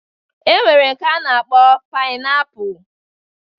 E nwere nke a na-akpọ painapu